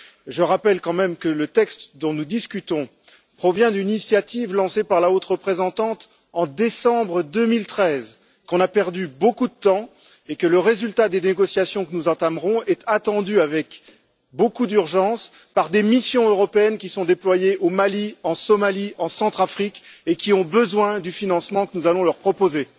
Je rappelle quand même que le texte dont nous discutons provient d'une initiative lancée par la Haute représentante en décembre 2013, qu'on a perdu beaucoup de temps et que le résultat des négociations que nous entamerons est attendu avec beaucoup d'urgence par des missions européennes qui sont déployées au Mali, en Somalie, en Centrafrique et qui ont besoin du financement que nous allons leur proposer.